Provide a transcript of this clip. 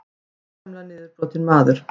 Gersamlega niðurbrotinn maður.